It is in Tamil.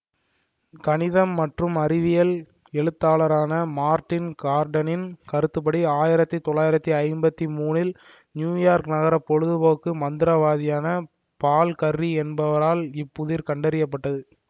கணிதம் மற்றும் அறிவியல் எழுத்தாளரான மார்ட்டின் கார்டனரின் கருத்துப்படி ஆயிரத்தி தொள்ளாயிரத்தி ஐம்பத்தி மூனி ல் இல் நியூயார்க் நகர பொழுதுபோக்கு மந்திரவாதியான பால் கர்ரி என்பவரால் இப்புதிர் கண்டறிய பட்டது